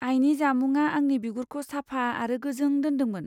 आयनि जामुंआ आंनि बिगुरखौ साफा आरो गोजों दोनदोंमोन।